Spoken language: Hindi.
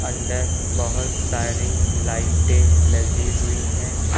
अंदर बहोत सारी लाइटे लगी हुई है।